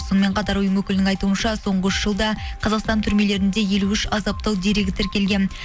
сонымен қатар ұйым өкілінің айтуынша соңғы үш жылда қазақстан түрмелерінде елу үш азаптау дерегі тіркелген